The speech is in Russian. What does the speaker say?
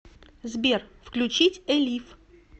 сбер включить элив